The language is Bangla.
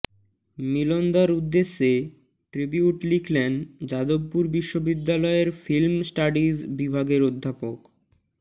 মিলনদার উদ্দেশে ট্রিবিউট লিখলেন যাদবপুর বিশ্ববিদ্যালয়ের ফিল্ম স্টাডিজ বিভাগের অধ্যাপক